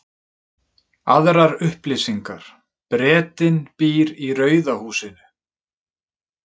Aðrar upplýsingar: Bretinn býr í rauða húsinu.